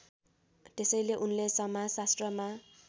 त्यसैले उनले समाजशास्त्रमा